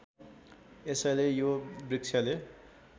यसैले यो वृक्षले